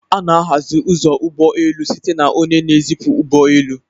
A na-ahazi ụzọ ụgbọ elu site na onye na-ezipụ ụgbọ elu